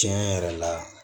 Tiɲɛ yɛrɛ la